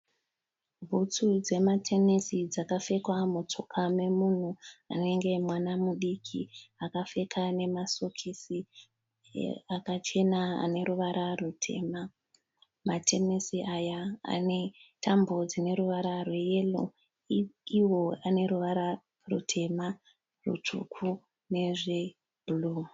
Bhutsu dzematenesi dzakapfekwa mutsoka memunhu anenge mwana mudiki. Akapfeka nemasokisi akachena neruvara ruchena. Matenesi aya ane tambo dzineruvara rweyero iwo aneruvara rutema, rutsvuku nezvebhuruu.